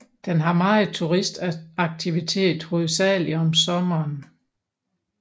Den har meget turist aktivitet hovedsageligt om sommeren